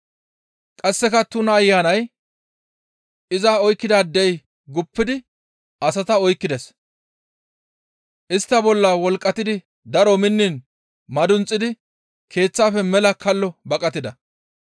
Qasseka tuna ayanay iza oykkidaadey guppidi asata oykkides; istta bolla wolqqatidi daro minniin madunxidi keeththafe mela kallo baqatida.